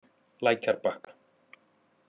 Lækjarbakka